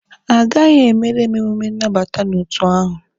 Ha agaghị emere m emume nnabata n'otu ahụ.